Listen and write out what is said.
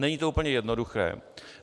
Není to úplně jednoduché.